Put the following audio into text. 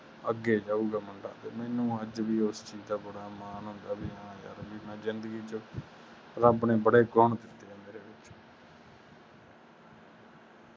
ਅਗੇ ਜਾਊਗਾ ਮੁੰਡਾ ਵੀ ਮੇਨੂ ਅੱਜ ਵੀ ਉਸ ਚੀਜ ਦਾ ਬੜਾ ਮਾਨ ਹੁੰਦਾ ਵੀ ਹਾ ਯਾਰ ਮੈਂ ਜਿੰਦਗੀ ਦੇ ਵਿਚ ਰੱਬ ਨੇ ਬੜੇ ਗੁਣ